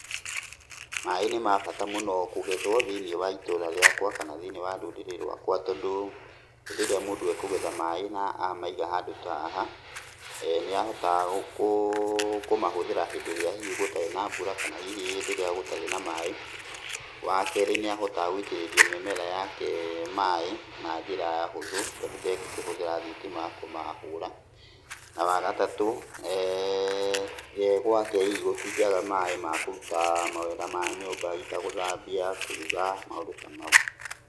Maaĩ nĩ mabata mũno kũgethwo thĩiniĩ wa itũũra riakwa kana thĩiniĩ wa rũrĩrĩ rwakwa tondũ rĩrĩa mũndũ ekũgetha maaĩ na amaiga handũ ta haha, nĩ ahotaga kũũ, kũmahũthĩra hĩndĩ ĩrĩa hihi gũtarĩ na mbura kana hihi hĩndĩ ĩrĩa gũtarĩ na maaĩ. Wakerĩ nĩ ahotaga gũitĩrĩria mĩmera yake maaĩ na njĩra hũthũ tondũ ndegũkĩhũthĩra thitima kũmahũra. Na wagatatũ, gwake hihi gũtingĩaga maaĩ ma kũruta mawĩra ma nyũmba hihi ta gũthambia, kũruga, maũndũ ta mau.